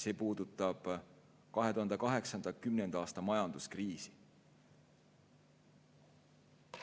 See puudutab 2008.–2010. aasta majanduskriisi.